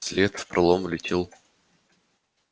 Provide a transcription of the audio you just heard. вслед в пролом влетел